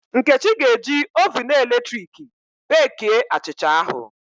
Nkechi ga-eji oven eletrik beekie achịcha ahụ